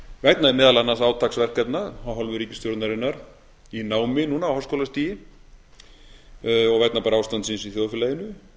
vegna meðal annars átaksverkefna af hálfu ríkisstjórnarinnar í námi núna á háskólastigi og vegna bara ástandsins í þjóðfélaginu